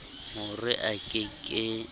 ho re a ke ke